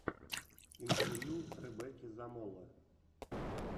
интервью ребекки замоло